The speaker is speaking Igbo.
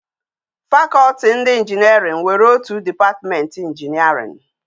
Faculty ndi engeering were otutu department engineering